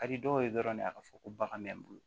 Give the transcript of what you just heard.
Ka di dɔw ye dɔrɔn de a ka fɔ ko bagan bɛ n bolo